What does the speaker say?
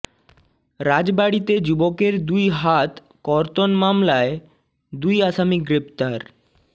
রাজবাড়ীতে যুবকের দুই হাত কর্তন মামলায় দুই আসামি গ্রেপ্তার